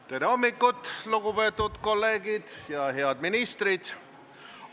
Tere hommikust, lugupeetud kolleegid ja head ministrid!